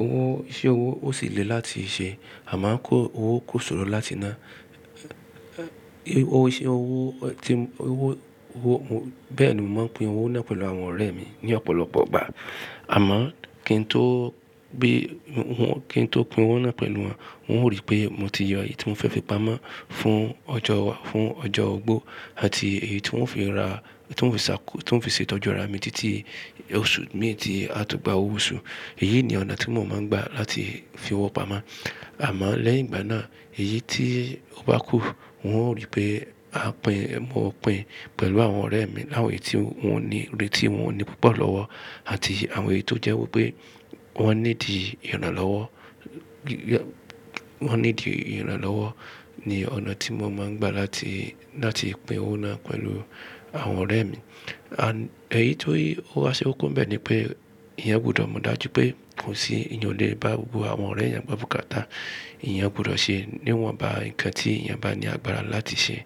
Owó, iṣẹ́ owó ó sì le láti ṣe, a máa ń kó owó kó ṣòro láti ná, owó iṣẹ́ owó tí owó, owó mó. Bẹ́ẹ̀ ni mo máa ń pín owó náà pẹ̀lú àwọn ọ̀rẹ́ mi ní ọ̀pọ̀lọpọ̀ ìgbà. Àmọ́ kí n tó bí wọn, kí n tó pín owó náà pẹ̀lú wọn, wọ́n ó rí pé mo ti yọ èyí tí mo fẹ́ fi pamọ́ fún ọjọ́ wa, fún ọjọ́ ogbó àti èyí tí wọ́n fi ra, tí wọ́n fi ṣàkó, tí wọ́n fi ṣe ìtọ́jú ara mi títí oṣù méje tó gba owó oṣù. Èyí ni ọ̀nà tí mo máa ń gbà láti fi owó pamọ́. Àmọ́ lẹ́yìn ìgbà náà, èyí tí ó bá kún, wọn o rí pé a pín, mo pín pẹ̀lú àwọn ọ̀rẹ́ mi láwọn èyí tí wọn ní, èyí tí wọn ní púpọ̀ lọ́wọ́ àti àwọn èyí tó jẹ́ wípé wọ́n ní di ìran lọ́wọ́, wọ́n ní di ìran lọ́wọ́ ni ọ̀nà tí mo máa ń gbà láti, láti pín owó náà pẹ̀lú àwọn ọ̀rẹ́ mi. À, èyí tó i, ó ha ṣe ó koko bẹ́ẹ̀ ni pé ìyẹn gbọdọ̀ mọ̀ dájú pé kò sí ìyanilẹ́nuwò, àwọn ọ̀rẹ́ ìyẹn gbọdọ̀ káta. Ìyẹn gbọdọ̀ ṣe níwọ̀nba ǹkan tí ìyẹn bá ní agbára láti ṣe.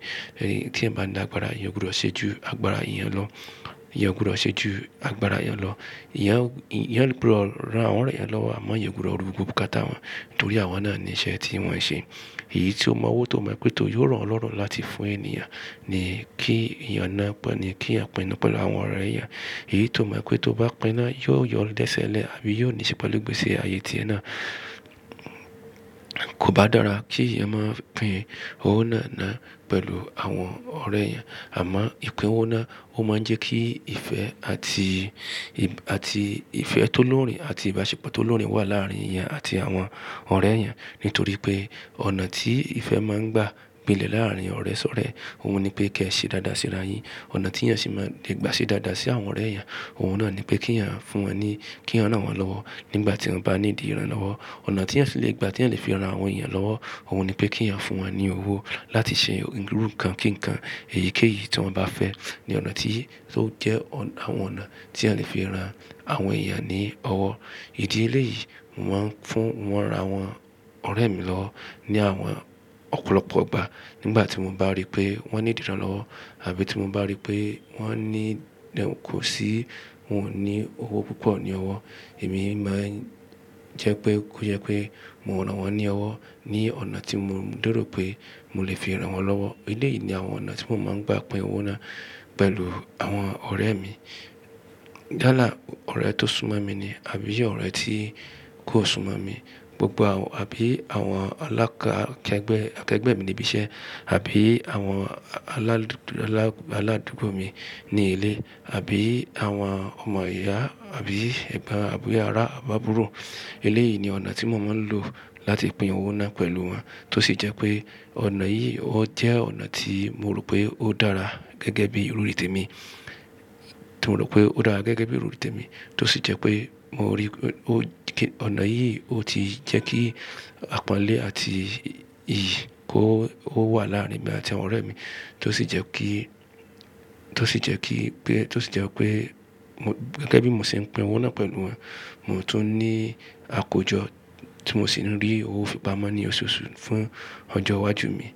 Ẹ̀, tí ẹ̀ bá ní agbára ìyẹn gbọdọ̀ ṣe ju agbára ìyẹn lọ. Ìyẹn gbọdọ̀ ṣe ju agbára ìyẹn lọ. Ìyẹn, ìyẹn gbọdọ̀ ran àwọn ọ̀rẹ́ ìyẹn lọ́wọ́ àmọ́ ìyẹn gbọdọ̀ rúgbùkú káta wọn nítorí àwọn náà ni iṣẹ́ tí wọ́n ń ṣe. Èyí tí ọmọ owó tó mọ̀ pé tó yóò ràn ọlọ́rùn láti fún ènìyàn ni kí ìyẹn náà pé ni kí ẹ̀ pín náà pẹ̀lú àwọn ọ̀rẹ́ ìyẹn. Èyí tó mọ̀ pé tó bá pín náà yóò yọ lẹ́sẹ̀lẹ̀ àbí yóò níṣẹ́ pẹ̀lú gbèsè ààyè tí ẹ̀ náà kò bá dára kí ẹ̀ máa pín owó náà náà pẹ̀lú àwọn ọ̀rẹ́ ìyẹn. Àmọ́ ìpín owó náà ó máa ń jẹ́ kí ìfẹ́ àti, àti ìfẹ́ tó lórí àti ìbáṣepọ̀ tó lórí wà láàárín ìyẹn àti àwọn ọ̀rẹ́ ìyẹn. Nítorí pé ọ̀nà tí ìfẹ́ máa ń gbà nílẹ̀ láàárín ọ̀rẹ́ sọ̀rẹ́, òun ni pé kí ẹ ṣe dáadáa síra yin. Ọ̀nà tí ìyẹn sì máa le gbà ṣe dáadáa sí àwọn ọ̀rẹ́ ìyẹn, òun náà ni pé kí ìyẹn fún wọn ní, kí ìyẹn rán wọn lọ́wọ́ nígbà tí wọn bá ní di ìran lọ́wọ́. Ọ̀nà tí ìyẹn sì le gbà tí ẹ̀ lè fi ra àwọn èyàn lọ́wọ́, òun ni pé kí ìyẹn fún wọn ní owó láti ṣe irú ǹkan kíǹkan èyíkéyìí tí wọ́n bá fẹ́ ni ọ̀nà tí ó jẹ́ àwọn ọ̀nà tí a lè fi ra àwọn èyàn ní owó. Ìdílé yìí mo máa ń fún wọn ra àwọn ọ̀rẹ́ mi lọ ní àwọn ọ̀pọ̀lọpọ̀ ìgbà nígbà tí mo bá rí pé wọ́n ní ìdíran lọ́wọ́ àbí tí mo bá rí pé wọ́n ní kò sí wọn ò ní owó púpọ̀ ní ọwọ́, èmi máa ń jẹ́ pé kó jẹ́ pé mo rán wọn ní ọwọ́ ní ọ̀nà tí mo leró pé mo lè fi rán wọn lọ́wọ́. Ilé yìí ni àwọn ọ̀nà tí mo máa ń gbà pín owó náà pẹ̀lú àwọn ọ̀rẹ́ mi. Dáàlá ọ̀rẹ́ tó súnmọ́ mi ni àbí jẹ́ ọ̀rẹ́ tí kò súnmọ́ mi gbogbo àbí àwọn alákẹ́gbẹ́, akẹ́gbẹ́ mi níbi iṣẹ́ àbí àwọn aládùúgbò mi ní ilé àbí àwọn ọmọ ìyá àbí ẹ̀gbọ́n àbí ará àbá àbúrò. Ilé yìí ni ọ̀nà tí mo máa ń lò láti pín owó náà pẹ̀lú wọn tó sì jẹ́ pé ọ̀nà yìí ó jẹ́ ọ̀nà tí mo rò pé ó dára gẹ́gẹ́ bí ìròrí tèmi, tí mo rò pé ó dára gẹ́gẹ́ bí eròrí tèmi tó sì jẹ́ pé mo rí pé ó, ọ̀nà yìí ó ti jẹ́ kí àpọ́nlé àti iyì kó wà láàárín mi àti àwọn ọ̀rẹ́ mi tó sì jẹ́ kí, tó sì jẹ́ kí pé, tó sì jẹ́ pé mo gẹ́gẹ́ bí mo ṣe ń pín owó náà pẹ̀lú wọn, mo tún ní àkójọ tí mo sì ń rí owó fi pamọ́ ní oṣooṣù fún ọjọ́ iwájú mi.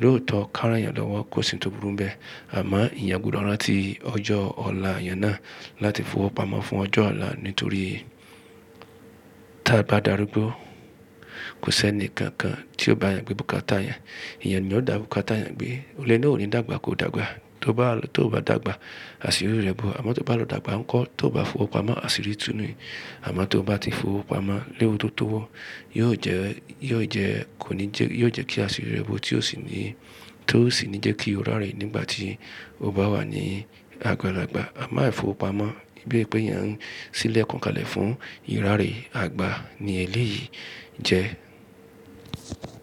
Lóòótọ́ káràǹyàn lọ́wọ́ kò sì tó burú bẹ́ẹ̀ àmọ́ ìyàn gbọdọ̀ rántí ọjọ́ ọ̀la ìyàn náà láti fi owó pamọ́ fún ọjọ́ ọ̀la nítorí tí a bá darúgbó, kò sí ẹnì kankan tí ó bá yàn gbé bùkátà ìyàn. Ìyẹn ni ó dà bùkátà ìyàn pé olè náà ò ní dàgbà kó dàgbà, tó bá, tó bá dàgbà, àṣírí rẹ̀ bú. Àmọ́ tó bá lọ dàgbà ńkọ́, tó bá fi owó pamọ́, àṣírí tú ni. Àmọ́ tó bá ti fi owó pamọ́ léwu tó tó wọ́, yóò jẹ́, yóò jẹ́, kò ní jẹ́, yóò jẹ́ kí àṣírí rẹ̀ bo tí ó sì ní, tí ó sì ń jẹ́ kí ó rárẹ̀ nígbà tí ó bá wà ní agbalàgbà. Àmán ai fi owó pamọ́ bíi pé ìyẹn ń sílẹ̀ kan kalẹ̀ fún ìráré àgbà ni eléyìí jẹ́.